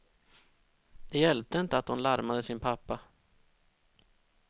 Det hjälpte inte att hon larmade sin pappa.